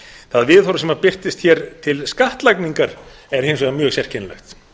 það viðhorf sem birtist hér til skattlagningar er hins vegar mjög sérkennilegt